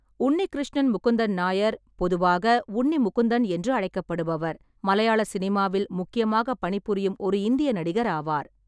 உன்னிகிருஷ்ணன் முகுந்தன் நாயர், பொதுவாக உன்னி முகுந்தன் என்று அழைக்கப்படுபவர், மலையாள சினிமாவில் முக்கியமாக பணிபுரியும் ஒரு இந்திய நடிகர் ஆவார்.